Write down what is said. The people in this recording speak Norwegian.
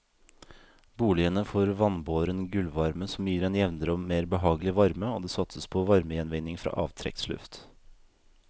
Boligene får vannbåren gulvvarme som gir en jevnere og mer behagelig varme og det satses på varmegjenvinning fra avtrekksluft.